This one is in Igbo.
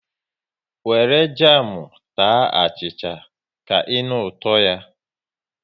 Wéré jamu taa achịcha, ka ịnụ ụtọ ya